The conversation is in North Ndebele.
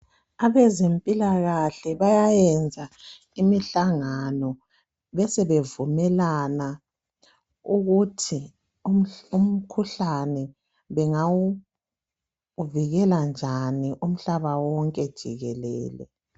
Abezempilakahle bayayenza imihlangano besebevumelani ukuthi umkhuhlane bengawuvikela njani umhlaba wonke jikelele.